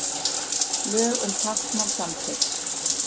Lög um táknmál samþykkt